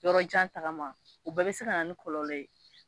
Yɔrɔjan tagama, u bɛɛ bɛ se ka na ni kɔlɔlɔ ye.